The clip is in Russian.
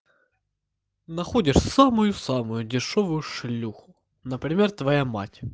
находишь самую самую дешёвую шлюху например твоя мать